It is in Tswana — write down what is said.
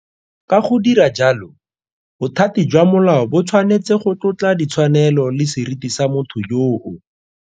Ka go dira jalo, bothati jwa molao bo tshwanetse go tlotla ditshwanelo le seriti sa motho yoo.